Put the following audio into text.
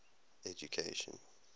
education